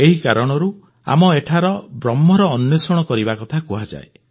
ଏହି କାରଣରୁ ଆମ ଏଠାରେ ବ୍ରହ୍ମର ଅନ୍ୱେଷଣ କରିବା କଥା କୁହାଯାଏ